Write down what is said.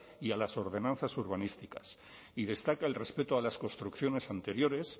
y a las ordenanzas urbanísticas y destaca el respeto a las construcciones anteriores